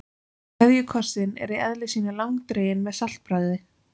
KVEÐJUKOSSINN er í eðli sínu langdreginn með saltbragði.